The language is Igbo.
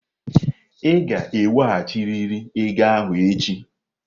Ị ga-eweghachirịrị ego ahụ echi!